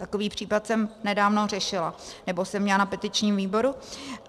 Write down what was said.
Takový případ jsem nedávno řešila, nebo jsem měla na petičním výboru.